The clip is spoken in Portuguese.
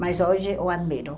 Mas hoje eu admiro.